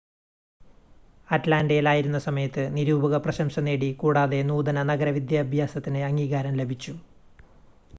അറ്റ്ലാൻ്റയിൽ ആയിരുന്ന സമയത്ത് നിരൂപക പ്രശംസ നേടി കൂടാതെ നൂതന നഗര വിദ്യാഭ്യാസത്തിന് അംഗീകാരം ലഭിച്ചു